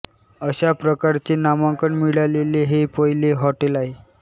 अशा प्रकारचे नामांकन मिळालेले हे पहिले हॉटेल आहे